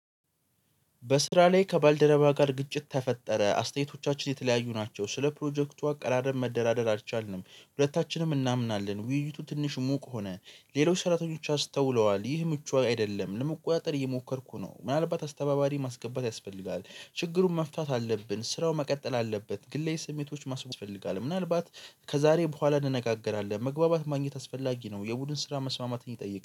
በስራ ላይ ከባልደረባ ጋር ግጭት ተፈጠረ። አስተያየቶቻችን የተለያዩ ናቸው ስለ ፕሮጀክቱ አቀራረብ መደራደር አልቻልንም። ሁለታችንም እናምናለን ውይይቱ ትንሽ ሙቅ ሆነ። ሌሎች ሰራተኞች አስተውለዋል ይህ ምቹ አይደለም። ለመቆጣጠር እየሞከርኩ ነው ምናልባት አስተባባሪ ማስገባት ያስፈልጋል። ችግሩን መፍታት አለብን። ስራው መቀጠል አለበት። ግላዊ ስሜቶች ማስብ ያስፈልጋል። ምናልባት ከዛሬ በኋላ እንነጋገራለን መግባባት ማግኘት አስፈላጊ ነው። የቡድን ስራ መስማማትን ይጠይቃል።